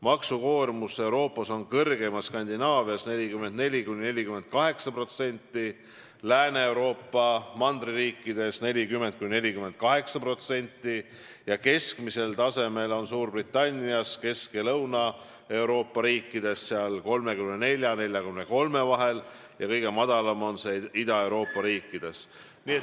Maksukoormus on Euroopas kõrgeim Skandinaavias, 44–48%, Lääne-Euroopa mandririikides 40–48%, keskmisel tasemel on see Suurbritannias, Kesk- ja Lõuna-Euroopa riikides, neis 34% ja 43% vahel, ning kõige madalam on see Ida-Euroopa riikides.